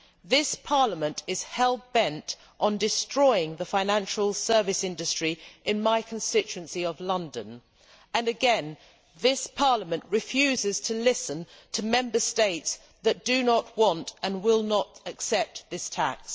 This Parliament is hell bent on destroying the financial service industry in my constituency of London, and again, this Parliament refuses to listen to Member States that do not want to and will not accept this tax.